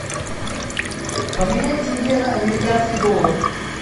поменять тенге на американский доллар